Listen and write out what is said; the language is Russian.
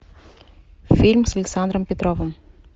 фильм с александром петровым